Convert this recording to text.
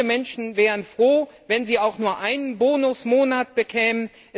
Viele Menschen wären froh, wenn sie auch nur einen Bonusmonat bekämen.